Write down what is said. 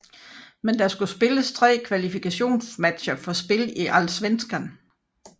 Men der skulle spilles tre kvalifikationsmatcher for spil i Allsvenskan